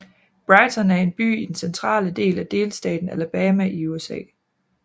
Brighton er en by i den centrale del af delstaten Alabama i USA